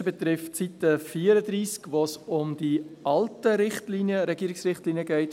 Das Erste betrifft Seite 34, wo es um die alten Regierungsrichtlinien 2015– 2018 geht: